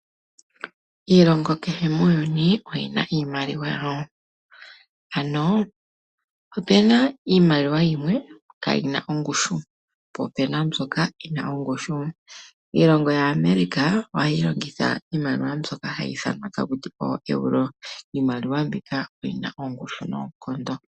Iilongo kehe muuyuni oyi na iimaliwa yawo, ano opuna iimaliwa yimwe kaayina ongushu po opuna mbyoka yina ongushu. Iilongo yaAmerica ohayi longitha iimaliwa mbyoka hayi ithanwa takuti ooEuro, iimaliwa mbika oyina ongushu noonkondo.